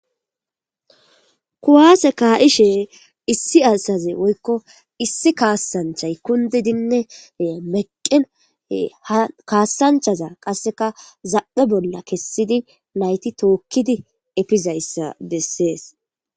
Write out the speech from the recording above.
kuwase kaaishe issi asaze woykko issi kaassanchay kundidinne meqqen ha kaassanchaza qasseka zamphe bolla kessidi nayti tookkidi efizayssa bessees